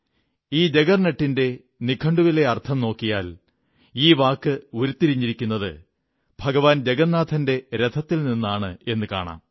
ഈ ജഗർനട്ടിന്റെ നിഘണ്ടുവിലെ അർഥം നോക്കിയാൽ ഈ വാക്ക് ഉരുത്തിരിഞ്ഞിരിക്കുന്നത് ഭഗവാൻ ജഗന്നാഥന്റെ രഥത്തിൽ നിന്നാണെന്നു കാണാം